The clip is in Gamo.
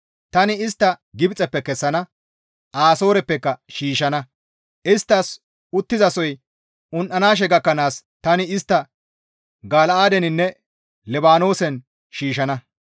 Tani istta Gibxeppe kessana; asooreppeka shiishshana; isttas uttizasoy un7anaashe gakkanaas tani istta Gala7aadeninne Libaanoosen shiishshana.